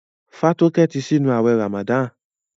Fatoke tí sínú awé ramadan.